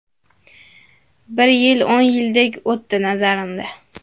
Bir yil o‘n yildek o‘tdi, nazarimda.